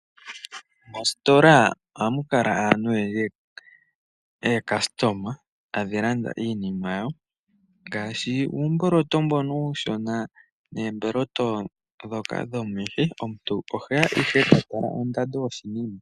Mositola ohamu kala muna aantu oyendji, ookastoma tadhi landa iinima yawo ngaashi uumboloto mbono uushona neemboloto dhoka dhomihi, omuntu oheya ihe ta tala ondando yoshinima.